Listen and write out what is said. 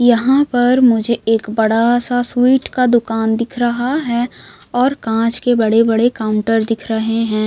यहाँ पर मुझे एक बड़ा सा स्वीट का दुकान दिख रहा है और कांच के बड़े-बड़े काउंटर दिख रहे हैं।